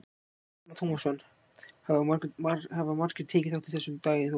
Telma Tómasson: Hafa margir tekið þátt í þessu í dag Þóra?